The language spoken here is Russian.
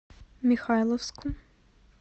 михайловску